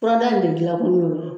Furadaa in de dilankun y'o ye